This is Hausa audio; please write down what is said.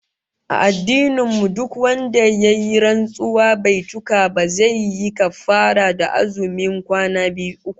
A addinin mu duk wanda ya yi rantsuwa bai cika ba, sai yayi kaffarah ta azumin kwana uku